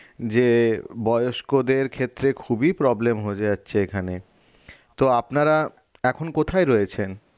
যে বয়স্কদের ক্ষেত্রে খুবই problem হয়ে যাচ্ছে এখানে তো আপনারা এখন কোথায় রয়েছেন?